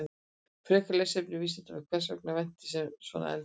Frekara lesefni á Vísindavefnum: Hvers vegna er vetni svona eldfimt?